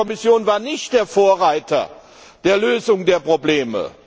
Die Kommission war nicht der Vorreiter zur Lösung der Probleme.